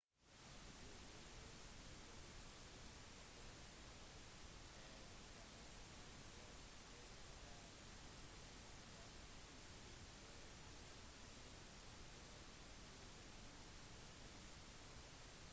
usas geologiske undersøkelse av internasjonale jordskjelvskart viste ingen tegn til jordskjelv uken før på island